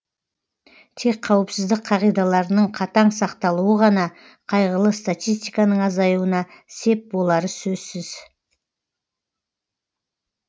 тек қауіпсіздік қағидаларының қатаң сақталуы ғана қайғылы статистиканың азаюына сеп болары сөзсіз